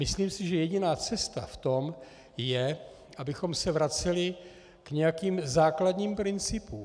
Myslím si, že jediná cesta v tom je, abychom se vraceli k nějakým základním principům.